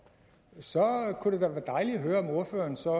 så kunne det være dejligt at høre om ordføreren så